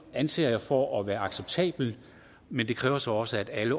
anser jeg for at være acceptabelt men det kræver så også at alle